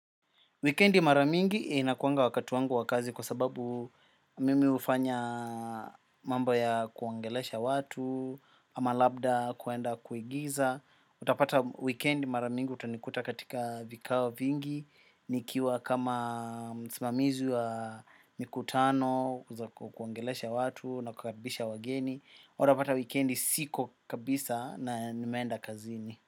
Wikendi mara mingi inakuanga wakati wangu wa kazi kwa sababu mimi ufanya mambo ya kuongelesha watu, ama labda kuenda kuigiza. Utapata weekend mara mingi utanikuta katika vikao vingi, nikiwa kama msimamizi wa mikutano, za kuongelesha watu na kukaribisha wageni. Utapata wikendi siko kabisa na nimeenda kazini.